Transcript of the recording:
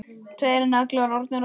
Tveir naglar orðnir að ösku.